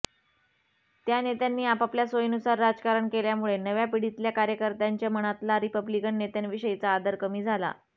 त्या नेत्यांनी आपापल्या सोयीनुसार राजकारण केल्यामुळे नव्या पिढीतल्या कार्यकत्यार्ंंच्या मनातला रिपब्लिकन नेत्यांविषयीचा आदर कमी झाला